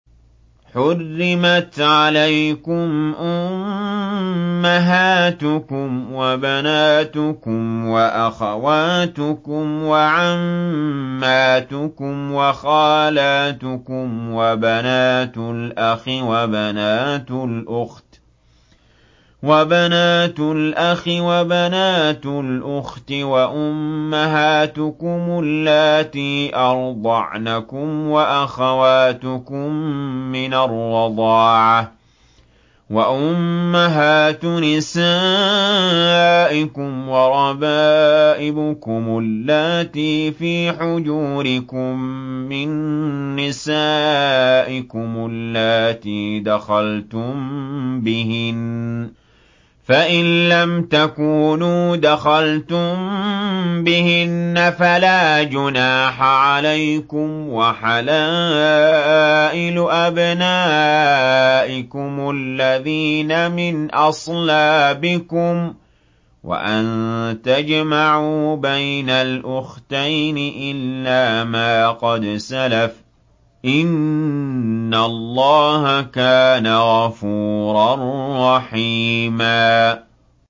حُرِّمَتْ عَلَيْكُمْ أُمَّهَاتُكُمْ وَبَنَاتُكُمْ وَأَخَوَاتُكُمْ وَعَمَّاتُكُمْ وَخَالَاتُكُمْ وَبَنَاتُ الْأَخِ وَبَنَاتُ الْأُخْتِ وَأُمَّهَاتُكُمُ اللَّاتِي أَرْضَعْنَكُمْ وَأَخَوَاتُكُم مِّنَ الرَّضَاعَةِ وَأُمَّهَاتُ نِسَائِكُمْ وَرَبَائِبُكُمُ اللَّاتِي فِي حُجُورِكُم مِّن نِّسَائِكُمُ اللَّاتِي دَخَلْتُم بِهِنَّ فَإِن لَّمْ تَكُونُوا دَخَلْتُم بِهِنَّ فَلَا جُنَاحَ عَلَيْكُمْ وَحَلَائِلُ أَبْنَائِكُمُ الَّذِينَ مِنْ أَصْلَابِكُمْ وَأَن تَجْمَعُوا بَيْنَ الْأُخْتَيْنِ إِلَّا مَا قَدْ سَلَفَ ۗ إِنَّ اللَّهَ كَانَ غَفُورًا رَّحِيمًا